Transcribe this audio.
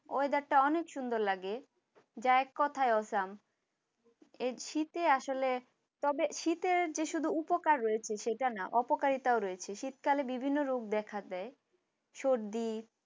Weather টা অনেক সুন্দর লাগে যে এক কথায় awesome এই শীতে আসলে তবে শীতের যে শুধু উপকার রয়েছে সেটা না অপকারিতা রয়েছে শীতকালে বিভিন্ন রোগ দেখা যায়। সর্দি